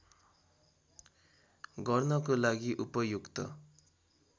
गर्नको लागि उपयुक्त